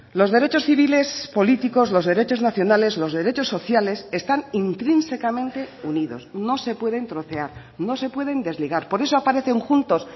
los derechos civiles políticos los derechos nacionales los derechos sociales están intrínsecamente unidos no se pueden trocear no se pueden desligar por eso aparecen juntos